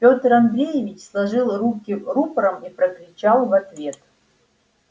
пётр андреевич сложил руки рупором и прокричал в ответ